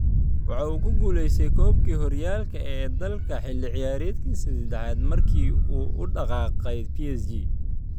Waxa uu ku guuleystay koobkii horyaalka ee dalka xilli ciyaareedkiisii ​​seddexaad markii uu u dhaqaaqay PSG.